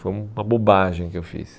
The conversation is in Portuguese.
Foi uma bobagem que eu fiz.